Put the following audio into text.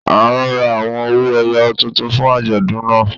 A ń rà awọn ọwọ-èyò tuntun fún ajọdún náà.